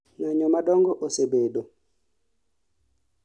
ng'anyo madongo osebedo